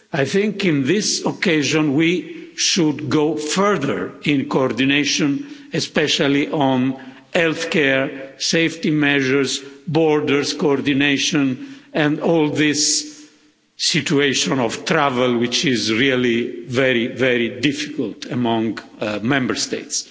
I think on this occasion we should go further in coordination, especially on health care safety measures, border coordination and the whole situation concerning travel, which is really very difficult among Member States.